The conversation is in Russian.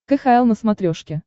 кхл на смотрешке